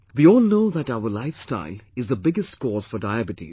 We all know that our lifestyle is the biggest cause for Diabetes